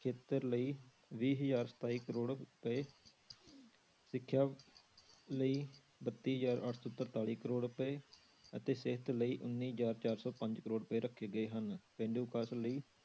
ਖੇਤਰ ਲਈ ਵੀਹ ਹਜ਼ਾਰ ਸਤਾਈ ਕਰੌੜ ਰੁਪਏ ਸਿੱਖਿਆ ਲਈ ਬੱਤੀ ਹਜ਼ਾਰ ਅੱਠ ਸੌ ਤਰਤਾਲੀ ਕਰੌੜ ਰੁਪਏ ਅਤੇ ਸਿਹਤ ਲਈ ਉੱਨੀ ਹਜ਼ਾਰ ਚਾਰ ਸੌ ਪੰਜ ਕਰੌੜ ਰੁਪਏ ਰੱਖੇ ਗਏ ਹਨ, ਪੇਂਡੂ ਵਿਕਾਸ ਲਈ